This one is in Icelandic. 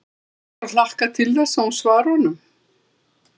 Svo er bara að hlakka til þess að hún svari honum.